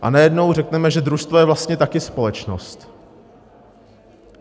A najednou řekneme, že družstvo je vlastně taky společnost.